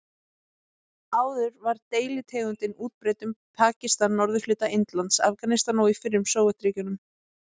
Áður var deilitegundin útbreidd um Pakistan, norðurhluta Indlands, Afganistan og í fyrrum Sovétríkjunum.